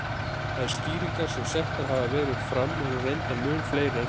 Þær skýringar sem settar hafa verið fram eru reyndar mun fleiri en þetta.